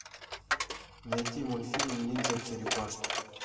найти мультфильм ниндзя черепашки